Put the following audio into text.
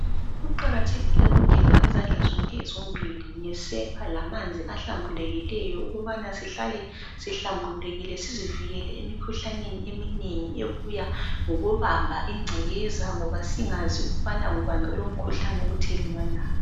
Kuqakathekile ukugeza izandla zonke zombili ngesepa lamanzi ahlambulukileyo ukubana sihlale sihlambulukile sizivikele emikhuhlaneni eminengi ebuya ngokubamba ingcekeza ngoba singazi ukubana ngubani obuya lomkhuhlane othelelwanayo.